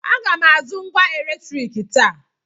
Aga m azụ ngwá eletriiki taa.